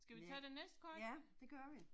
Skal vi tage det næste kort?